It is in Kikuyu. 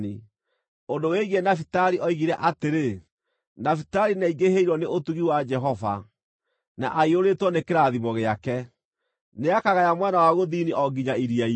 Ũndũ wĩgiĩ Nafitali oigire atĩrĩ: “Nafitali nĩaingĩhĩirwo nĩ ũtugi wa Jehova, na aiyũrĩtwo nĩ kĩrathimo gĩake; nĩakagaya mwena wa gũthini o nginya iria-inĩ.”